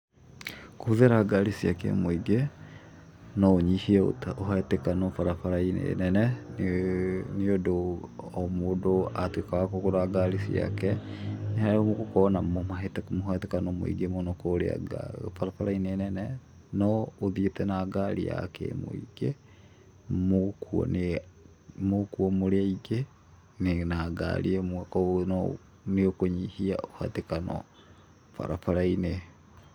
Kũhũthĩra ngari cia kĩmũingĩ, no ũnyihie ũhatĩkano barabara-inĩ nene, nĩũndũ o mũndũ, atuĩka wa kũgũra ngari ciake, nĩ hagũkorwo na mũhatĩkano mũingĩ mũno kũrĩa barabara-inĩ nene, no ũthiĩte na ngari ya kĩmũingĩ mũgũkuo nĩ mũgũkuo mũrĩ aingĩ na ngari ĩmwe, koguo no nĩkũnyihia mũhatĩkano barabara-inĩ.